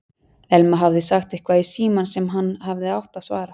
Elma hafði sagt eitthvað í símann sem hann hafði átt að svara.